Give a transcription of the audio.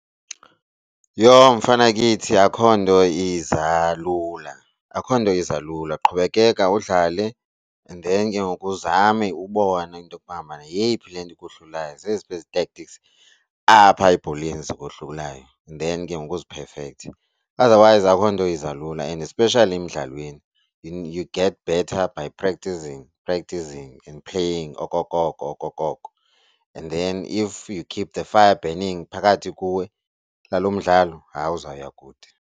Yho! Mfanakithi akho nto iza lula, akho nto iza lula qhubekeka udlale and then ke ngoku uzame ubone into yokuba ngabana yeyiphi le nto imohlulayo zeziphi ezi tactics apha ebholeni zingohlulayo. And then ke ngoku uziphefekthe. Otherwise akukho nto iza lula and especially emdlalweni. You get better by practising, practising playing okokoko okokoko, and then if you keep the fire burning phakathi kuwe ngalo mdlalo hayi uzawuya kude.